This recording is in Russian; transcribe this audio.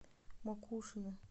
макушино